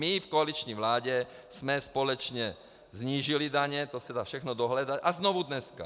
My v koaliční vládě jsme společně snížili daně, to se dá všechno dohledat, a znovu dneska.